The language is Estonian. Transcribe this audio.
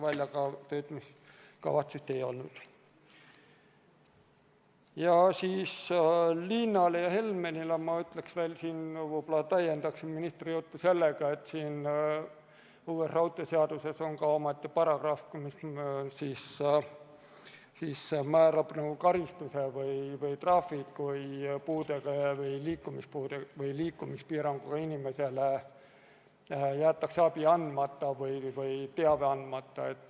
Liinale ja Helmenile ma ütleksin, võib-olla täiendaksin ministri juttu sellega, et uues raudteeseaduses on omaette paragrahv, mis määrab karistuse või trahvi, kui puudega või liikumispiiranguga inimesele jäetakse abi või teave andmata.